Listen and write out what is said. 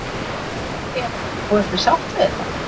Eva: Og ertu sátt við þetta?